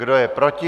Kdo je proti?